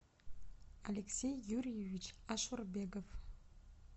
алексей юрьевич ашурбегов